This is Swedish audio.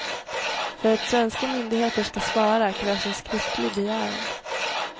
För att svenska myndigheter ska svara krävs en skriftlig begäran.